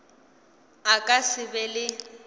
a ka se be le